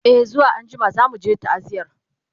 e zuwa anjima zamuje ta'aziyar